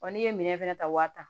Wa n'i ye minɛn fɛnɛ ta waa tan